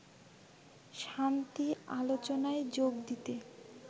শান্তি আলোচনায় যোগ দিতে